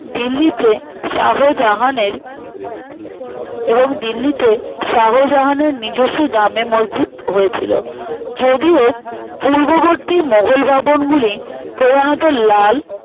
দিল্লিতে শাহজাহানের এবং দিল্লিতে শাহজাহানের নিজস্ব জামে মসজিদ হয়েছিল যদিও পূর্ববর্তী মোঘল ভবনগুলি প্রধানত লাল